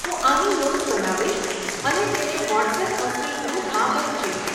હું આની નોંધ બનાવીશ અને તેને વોટ્સએપ હોસ્ટેલ ગ્રુપમાં વહેંચીશ.